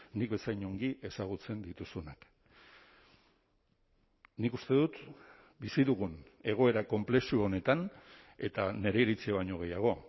nik bezain ongi ezagutzen dituzunak nik uste dut bizi dugun egoera konplexu honetan eta nire iritzia baino gehiago